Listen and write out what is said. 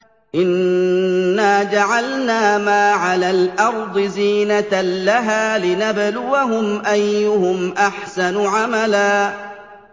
إِنَّا جَعَلْنَا مَا عَلَى الْأَرْضِ زِينَةً لَّهَا لِنَبْلُوَهُمْ أَيُّهُمْ أَحْسَنُ عَمَلًا